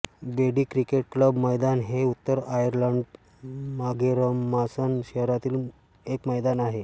ब्रेडी cricket club मैदान हे उत्तर आयर्लंडच्या माघेरमासन शहरातील एक मैदान आहे